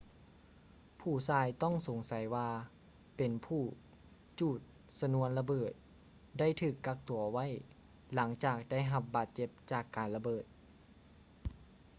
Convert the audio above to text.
ຜູ້ຊາຍຕ້ອງສົງໃສວ່າເປັນຜູ້ຈູດຊະນວນລະເບີດ ໄດ້ຖືກກັກຕົວໄວ້ ຫຼັງຈາກໄດ້ຮັບບາດເຈັບຈາກການລະເບີດ